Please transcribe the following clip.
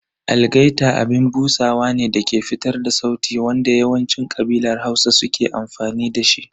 Algaita abin busawa ne dake fitar da sauti wanda yawancin ƙabilar Hausa suka fi amfani da shi.